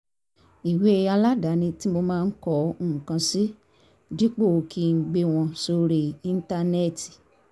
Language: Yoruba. ìwé aládani tí mo máa ń kọ nǹkan sí dípò kí n gbé wọn sórí íńtánẹ́ẹ̀tì